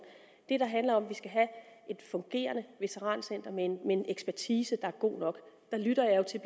det der handler om at vi skal have et fungerende veterancenter med en ekspertise er god nok der lytter jeg jo til